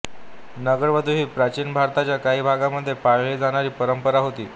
नगरवधू ही प्राचीन भारताच्या काही भागांमध्ये पाळली जाणारी परंपरा होती